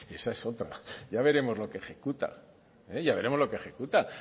esa es otra ya veremos lo que ejecuta ya veremos lo que ejecuta